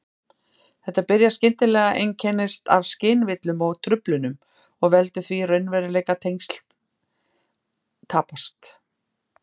Þetta byrjar skyndilega, einkennist af skynvillum og-truflunum og veldur því að raunveruleikatengsl tapast.